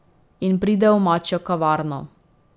In pride v mačjo kavarno.